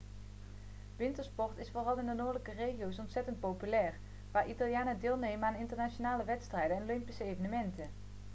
wintersport is vooral in de noordelijke regio's ontzettend populair waar italianen deelnemen aan internationale wedstrijden en olympische evenementen